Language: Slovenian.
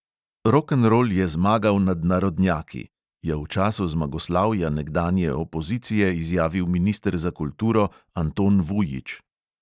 "Rokenrol je zmagal nad narodnjaki," je v času zmagoslavja nekdanje opozicije izjavil minister za kulturo anton vujič.